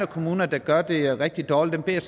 kommuner der gør det rigtig dårligt beder